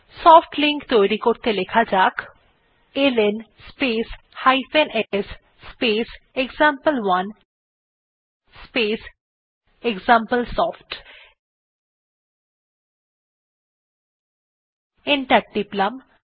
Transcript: soft link তৈরী করতে লেখা যাক L N space s space example one space example soft enter টিপলাম